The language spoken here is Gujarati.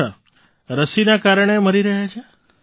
અચ્છા રસીના કારણે મરી રહ્યા છે